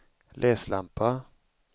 läslampa